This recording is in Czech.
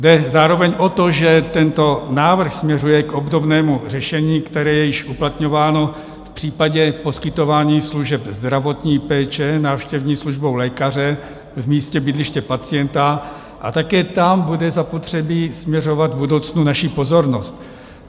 Jde zároveň o to, že tento návrh směřuje k obdobnému řešení, které je již uplatňováno v případě poskytování služeb zdravotní péče návštěvní službou lékaře v místě bydliště pacienta, a také tam bude zapotřebí směřovat v budoucnu naší pozornost.